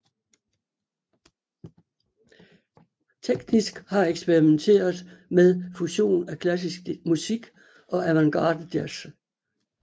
Teknisk har de eksperimenteret med fusion af klassisk musik og avantgardejazz